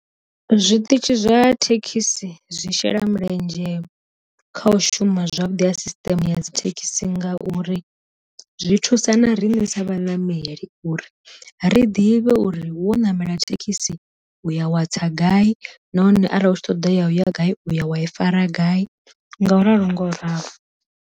Zwi ṱitshi zwa thekhisi zwi shela mulenzhe kha u shuma zwavhuḓi a system ya dzi thekhisi ngauri, zwi thusa na rine sa vha ṋameli uri ri ḓivhe uri wo ṋamela thekhisi u ya wa tsa gai nahone arali hu tshi ṱoḓa ya gai u ya wa i fara gai, nga u ralo nga u ralo.